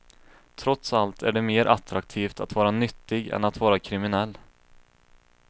Trots allt är det mer attraktivt att vara nyttig än att vara kriminell.